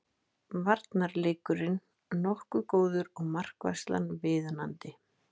Varnarleikurinn nokkuð góður og markvarslan viðunandi